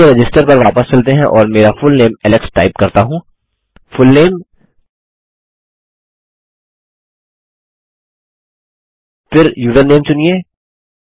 चलिए रजिस्टर पर वापस चलते हैं और मैं मेरा फुलनेम एलेक्स टाइप करता हूँ फुलनेम फिर यूज़रनेम चुनिए